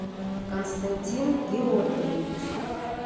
константин георгиевич